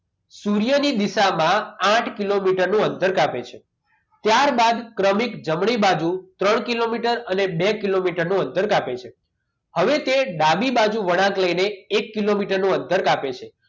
સૂર્યની દિશામાં આથ કિલોમીટર નું અંતર કાપે છે ત્યારબાદ ક્રમિક જમણી બાજુ ત્રણ કિલોમીટર અને બે કિલોમીટરનું અંતર કાપે છે હવે તે ડાબી બાજુ વળાંક લઈને એક કિલોમીટરનું અંતર કાપે છે